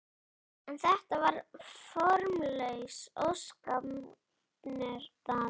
En þetta var bara formlaus óskapnaður.